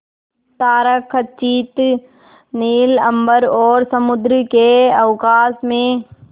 तारकखचित नील अंबर और समुद्र के अवकाश में